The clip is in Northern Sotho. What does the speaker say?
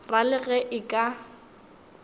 ra le ge e ka